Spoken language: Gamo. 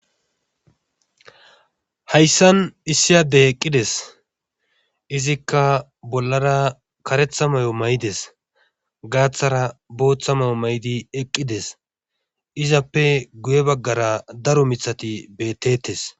Hayssan issi adde eqqides izikka bollara karetha mayo mayidees. Gaathara booththa mayo mayidi eqqidees. izappe goye bagara daro miththati beeteetees.